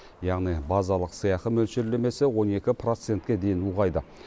яғни базалық сыйақы мөлшерлемесі он екі процентке дейін ұлғайды